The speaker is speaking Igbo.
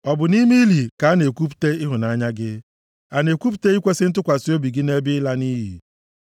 Ọ bụ nʼime ili ka a na-ekwupụta ịhụnanya gị? A na-ekwupụta ikwesi ntụkwasị obi gị nʼebe ịla nʼiyi?